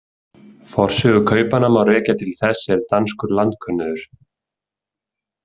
Forsögu kaupanna má rekja till þess er danskur landkönnuður.